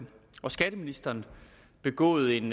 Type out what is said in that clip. og skatteministeren begået en